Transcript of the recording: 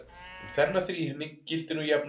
um þennan þríhyrning gildir nú jafnan